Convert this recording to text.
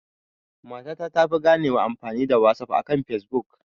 Mata ta tafi ganewa amfani da wasaf akan fesbuk